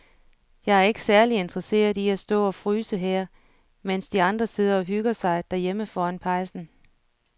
Jeg er ikke særlig interesseret i at stå og fryse her, mens de andre sidder og hygger sig derhjemme foran pejsen.